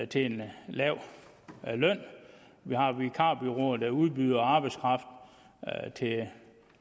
til en lav løn vi har vikarbureauer der udbyder arbejdskraft til